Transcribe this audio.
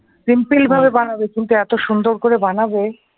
simple ভাবে মানাবে কিন্তু এত সুন্দর করে বানাবে ।